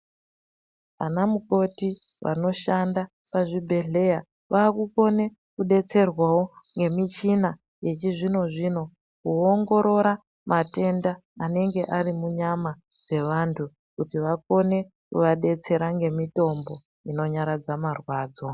Anamukoti vanoshanda pazvibhehleya vaakukone kudetserwawo ngemichina yechizvino-zvino kuongorora matenda anenge arimunyama dzevantu, kuti vakone kuvadetsera ngemitombo inonyaradza mwarwadzo.